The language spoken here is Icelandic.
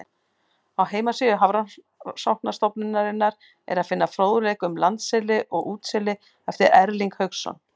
Á heimasíðu Hafrannsóknastofnunarinnar er að finna fróðleik um landseli og útseli eftir Erling Hauksson.